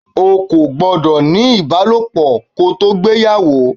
O kò gbọ́dọ̀ ní ibalopo kò tó gbéyàwó!